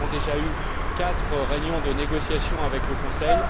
Nous avons déjà eu quatre réunions de négociations avec le Conseil.